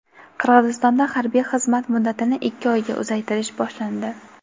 Qirg‘izistonda harbiy xizmat muddatini ikki oyga uzaytirish boshlandi.